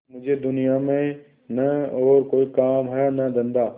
मुझे दुनिया में न और कोई काम है न धंधा